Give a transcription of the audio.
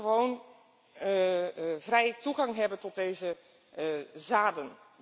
Boeren moeten gewoon vrij toegang hebben tot deze zaden.